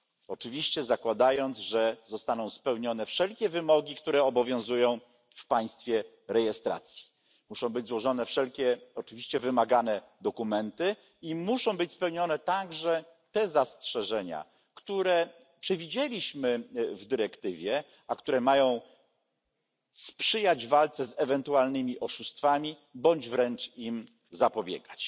Oczywiście zakładając, że zostaną spełnione wszelkie wymogi, które obowiązują w państwie rejestracji muszą zostać złożone wszystkie wymagane dokumenty i spełnione także zastrzeżenia, które przewidzieliśmy w dyrektywie, a które mają sprzyjać walce z ewentualnymi oszustwami bądź wręcz im zapobiegać.